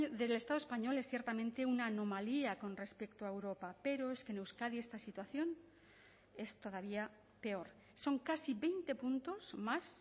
del estado español es ciertamente una anomalía con respecto a europa pero es que en euskadi esta situación es todavía peor son casi veinte puntos más